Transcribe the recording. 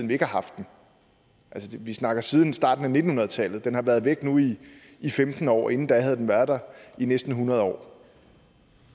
vi ikke har haft den altså vi snakker siden starten af nitten hundrede tallet den har været væk nu i i femten år men inden da havde den været der i næsten hundrede år